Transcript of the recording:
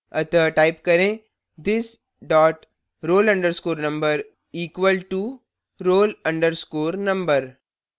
अतः type करें this dot roll _ number equal to roll _ number